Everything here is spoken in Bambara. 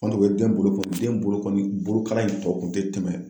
Kɔni u ye den bolokɔni bolokalan in tɔ kun te tɛmɛ